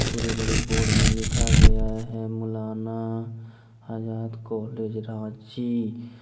पूरे बड़े बोर्ड में लिखा गया है मौलाना आजाद कॉलेज रांची।